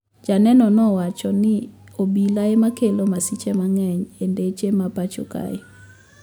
Janeno ne owacho ni obila ema kelo masiche mang`eny e ndeche ma pacho kae